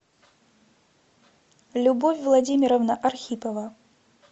любовь владимировна архипова